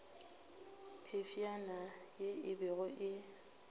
phefšana ye e bego e